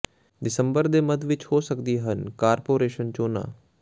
ਦਸੰਬਰ ਦੇ ਮੱਧ ਵਿੱਚ ਹੋ ਸਕਦੀਆਂ ਹਨ ਕਾਰਪੋਰੇਸ਼ਨ ਚੋਣਾਂ